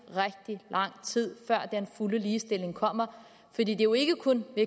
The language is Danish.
rigtig lang tid før den fulde ligestilling kommer fordi det jo ikke kun er